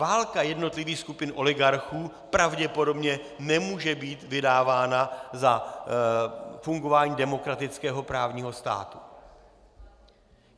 Válka jednotlivých skupin oligarchů pravděpodobně nemůže být vydávána za fungování demokratického právního státu.